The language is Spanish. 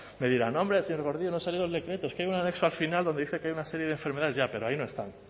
me dirán hombre señor gordillo no ha salido el decreto es que hay un anexo al final donde dice que hay una serie de enfermedades ya pero ahí no están